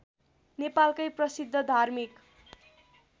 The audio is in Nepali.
नेपालकै प्रसिद्ध धार्मिक